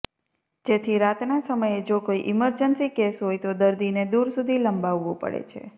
જેથી રાતના સમયે જો કોઈ ઈમરજન્સી કેસ હોય તો દર્દીને દૂર સુધી લંબાવવું પડે છે